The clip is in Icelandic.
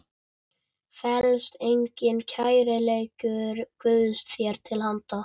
felst einnig kærleikur Guðs þér til handa.